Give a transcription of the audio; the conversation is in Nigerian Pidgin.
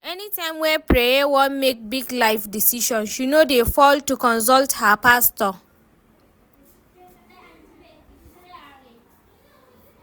Anytime wey Preye wan make big life decision, she no dey fail to consult her pastor